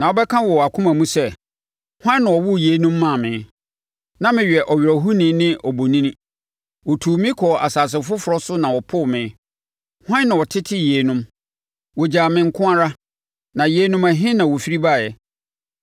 Na wobɛka wɔ wʼakoma mu sɛ, ‘Hwan na ɔwoo yeinom maa me? Na meyɛ ɔwerɛhoni ne obonini; wɔtuu me kɔɔ asase foforɔ so na wɔpoo me. Hwan na ɔtetee yeinom? Wɔgyaa me nko ara na yeinom, ɛhe na wɔfiri baeɛ?’ ”